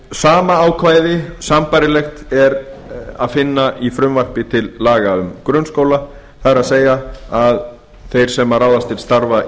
sama ákvæði sambærilegt er að finna í frumvarpi til laga um grunnskóla það er að þeir sem ráðast til starfa